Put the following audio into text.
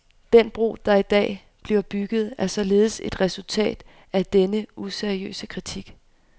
Den bro, der i dag bliver bygget, er således et resultat af denne useriøse kritik.